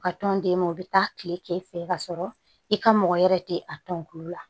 U ka tɔn d'e ma o bɛ taa tile k'e fɛ ka sɔrɔ i ka mɔgɔ wɛrɛ tɛ a tɔnkulu la